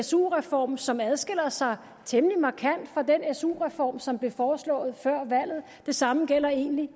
su reform som adskiller sig temmelig markant fra den su reform som blev foreslået før valget det samme gælder egentlig